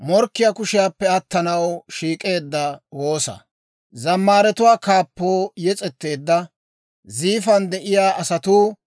Abeet S'oossaw, ne suntsan taana ashsha; ne wolk'k'an taana shatintsaa.